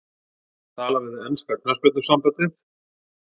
Tala við enska knattspyrnusambandið?